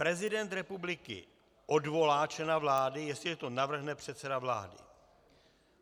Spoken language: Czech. Prezident republiky odvolá člena vlády, jestliže to navrhne předseda vlády.